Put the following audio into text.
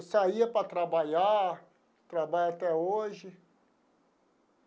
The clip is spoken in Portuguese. Eu saía para trabalhar, trabalho até hoje.